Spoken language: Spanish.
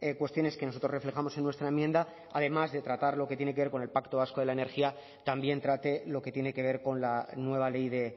cuestiones que nosotros reflejamos en nuestra enmienda además de tratar lo que tiene que ver con el pacto vasco de la energía también trate lo que tiene que ver con la nueva ley de